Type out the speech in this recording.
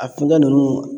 A kuntaa nunnu